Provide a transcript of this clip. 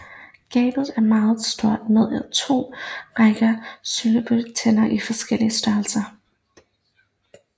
Gabet er meget stort med to rækker sylespidse tænder i forskellig størrelse